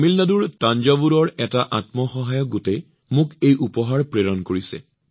তামিলনাডুৰ থাঞ্জাভুৰৰ এটা আত্মসহায়ক গোটে মোলৈ এটা উপহাৰ প্ৰেৰণ কৰিছে